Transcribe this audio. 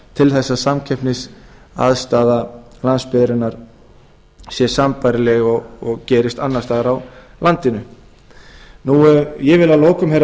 til þess að samkeppnisaðstaða landsbyggðarinnar sé sambærileg og gerist annars staðar á landinu ég vil að lokum herra